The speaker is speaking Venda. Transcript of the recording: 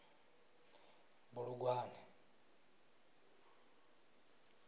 bulugwane